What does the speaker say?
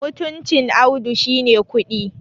mutuncin Audu shi ne kuɗi